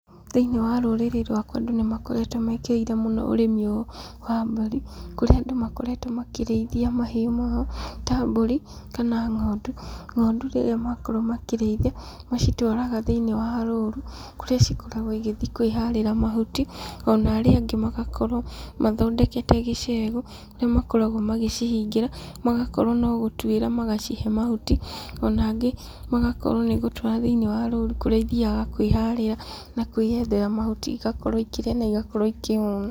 Thĩiniĩ wa rũrĩrĩ rwakwa andũ nĩmakoretwo mekĩrĩire ũrĩmi ũyũ wa mburi, kũrĩa andũ makoragwo makĩrĩithia mahiũ mũno ta mburi, kana ng'ondu, ng'ondu rĩrĩa makorwo makĩrĩithia, macitwaraga thĩiniĩ wa rũru, kũrĩa cikoragwo igĩthiĩ kwĩharĩra mahuti , ona arĩa angĩ magakorwo mathondekete icegũ, kũrĩa makoragwo magĩcihingira, magakorwo no gũtwĩra, magacihe mahuti na angĩ magakorwo nĩgũtwara thĩiniĩ wa rũru, kũrĩa ithiaga kwĩharĩra na kwĩyethera mahuti igakorwo ikĩrĩa na igakorwo ikĩhuna.